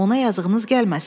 Ona yazığınız gəlməsin.